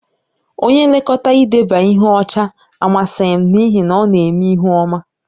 Onye nlekọta idebe ihe ọcha amasịghị m n'ihi na ọ na-eme ihu ọma